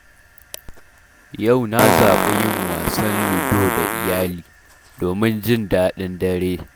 Yau na zaɓi yin wasan ludo da iyali, domin jin daɗin dare.